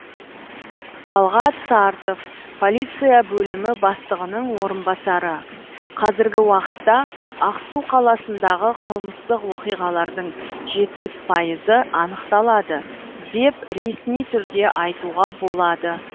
талғат сартов полиция бөлімі бастығының орынбасары қазіргі уақытта ақсу қаласындағы қылмыстық оқиғалардың жетпіс пайызы анықталады деп ресми түрде айтуға болады